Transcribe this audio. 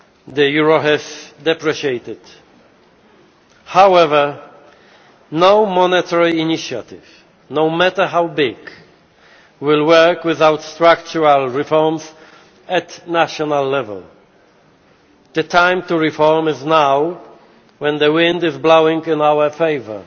The euro has depreciated. However, no monetary initiative, no matter how big, will work without structural reforms at national level. The time to reform is now when the wind is blowing in our favour.